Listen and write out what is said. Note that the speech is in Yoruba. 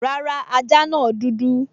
Rárá, ajá náà dúdú